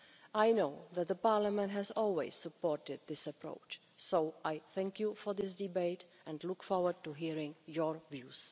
I know that the Parliament has always supported this approach so I thank you for this debate and look forward to hearing your views.